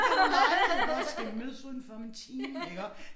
Kan du lege iggås skal vi mødes udenfor om en time iggå